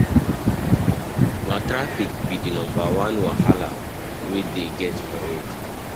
Na traffic be di number one wahala we dey get for road.